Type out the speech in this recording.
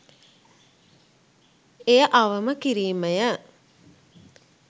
එය අවම කිරීම ය